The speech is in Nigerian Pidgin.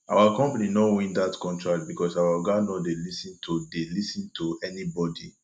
our company no win dat contract because our oga no dey lis ten to dey lis ten to anybodi